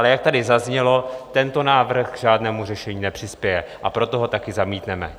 Ale jak tady zaznělo, tento návrh k žádnému řešení nepřispěje, a proto ho taky zamítneme.